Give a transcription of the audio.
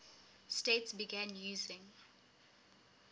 states began using